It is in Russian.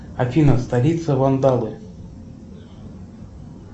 афина столица вандалы